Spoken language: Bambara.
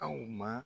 Aw ma